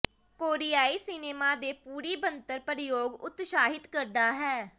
ਕੋਰੀਆਈ cinema ਦੀ ਪੂਰੀ ਬਣਤਰ ਪਰਯੋਗ ਉਤਸ਼ਾਹਿਤ ਕਰਦਾ ਹੈ